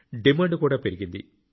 demand కూడా పెరిగింది